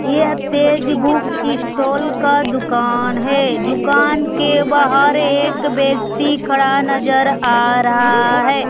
यह Tej book stall का दुकान है दुकान के बाहर एक व्यक्ति खड़ा नजर आ रहा है।